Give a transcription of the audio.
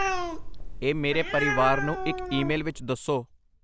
ਇਹ ਮੇਰੇ ਪਰਿਵਾਰ ਨੂੰ ਇੱਕ ਈਮੇਲ ਵਿੱਚ ਦੱਸੋ।